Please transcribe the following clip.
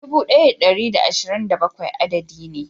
Dubu daya da dari da ashirin da bakwai adadi ne.